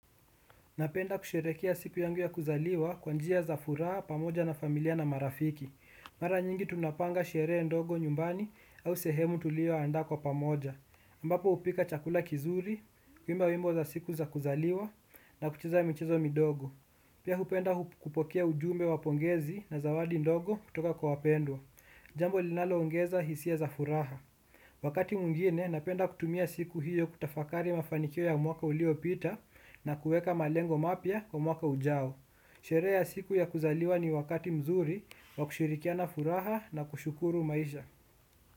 Napenda kusherehekea siku yangu ya kuzaliwa kwa njia za furaha pamoja na familia na marafiki. Mara nyingi tunapanga sherehe ndogo nyumbani au sehemu tuliyoandaa kwa pamoja. Ambapo hupika chakula kizuri, kuimba wimbo za siku za kuzaliwa na kucheza michezo midogo. Pia hupenda kupokea ujumbe wa pongezi na zawadi ndogo kutoka kwa wapendwa. Jambo linaloongeza hisia za furaha. Wakati mwingine napenda kutumia siku hiyo kutafakari mafanikio ya mwaka uliopita na kuweka malengo mapya kwa mwaka ujao. Sherehe ya siku ya kuzaliwa ni wakati mzuri wa kushirikiana furaha na kushukuru maisha.